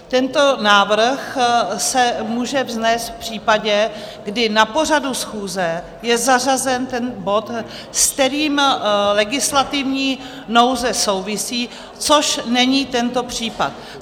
Tento návrh se může vznést v případě, kdy na pořadu schůze je zařazen ten bod, s kterým legislativní nouze souvisí, což není tento případ.